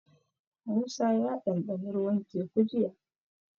Musa ya ɗanɗana ruwan Teku jiya.